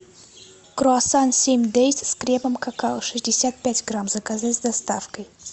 круассан семь дейс с кремом какао шестьдесят пять грамм заказать с доставкой